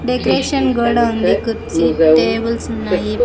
Decoration గోడ ఉంది కుర్చీ టేబుల్స్ ఉన్నాయి.